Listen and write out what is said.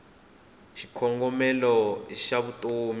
xikongomelo xavutomi